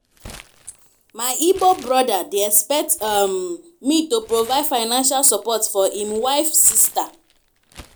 my igbo brother dey expect um me to provide financial support for im wife sister.